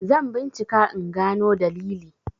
zan bincika in gano dalili!